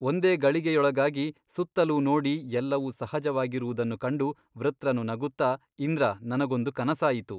ಒಂದೇ ಗಳಿಗೆಯೊಳಗಾಗಿ ಸುತ್ತಲೂ ನೋಡಿ ಎಲ್ಲವೂ ಸಹಜವಾಗಿರುವುದನ್ನು ಕಂಡು ವೃತ್ರನು ನಗುತ್ತ ಇಂದ್ರ ನನಗೊಂದು ಕನಸಾಯಿತು.